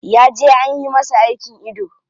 Ya je anyi masa aikin ido.